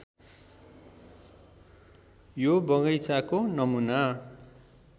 यो बगैंचाको नमूना